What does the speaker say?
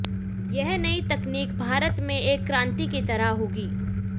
यह नई तकनीक भारत में एक क्रांति की तरह होगी